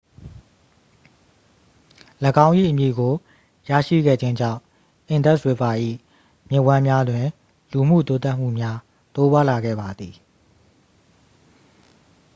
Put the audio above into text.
၎င်း၏အမည်ကိုရရှိခဲ့ခြင်းကြောင့် indus river ၏ မြစ်ဝှမ်းများတွင် လူမှုတိုးတက်မှုများ တိုးပွားလာခဲ့ပါသည်